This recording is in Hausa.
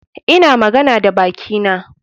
Ina magana da bakina.